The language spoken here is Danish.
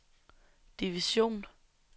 division